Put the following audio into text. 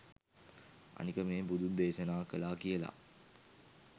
අනික මේ බුදුන් දේශනා කළා කියල